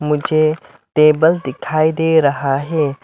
मुझे टेबल दिखाई दे रहा है।